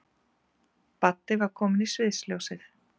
Baddi var kominn í sviðsljósið.